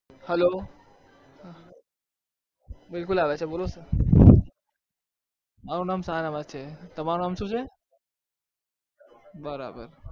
hello બિલકુલ આવે છે બોલો. મારું નામ સારાભાઈ છે. તમારું નામ શું છે? બરાબર.